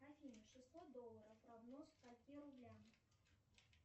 афина шестьсот долларов равно скольки рублям